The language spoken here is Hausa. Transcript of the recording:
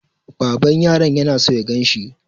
Baban yaron yana so ya ganshi.